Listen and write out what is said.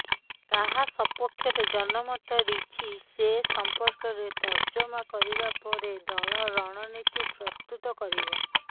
କାହା ସପକ୍ଷରେ ଜନମତ ରିଛି ସେ ସମ୍ପର୍କରେ ତର୍ଜମା କରିବା ପରେ ଦଳ ରଣନୀତି ପ୍ରସ୍ତୁତ କରିବ